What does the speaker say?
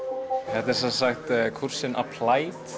þetta er semsagt kúrsinn